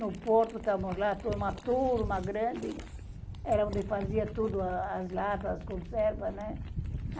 No Porto, estávamos lá, uma turma grande, era onde fazia tudo, as latas, as conservas, né?